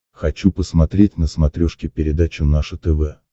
хочу посмотреть на смотрешке передачу наше тв